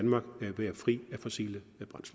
sige